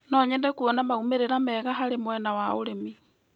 No nyende kuona maumĩrĩra mega harĩ mwena wa ũrĩmi.